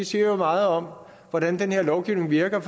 siger meget om hvordan den her lovgivning virker